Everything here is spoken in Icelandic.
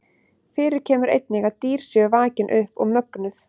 Fyrir kemur einnig að dýr séu vakin upp og mögnuð.